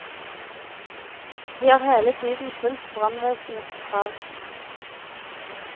Vi har hele tiden fulgt brannvesenets krav.